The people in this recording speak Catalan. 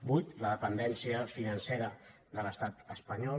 vuit la dependència financera de l’estat espa·nyol